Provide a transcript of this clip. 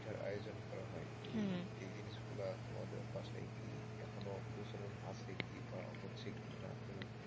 পিঠার আয়োজন করা হয়, হম এই জিনিসগুলো তোমাদের বাসায় কি এখনো প্রচলন আছে কি বা হচ্ছে কি না,